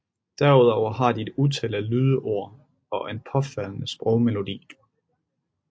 Derudover har de et utal af lydord og en påfaldende sprogmelodi